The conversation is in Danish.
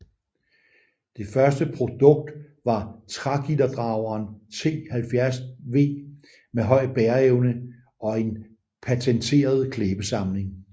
Det første produkt var trægitterdrageren T 70 V med høj bæreevne og en patenteret klæbesamling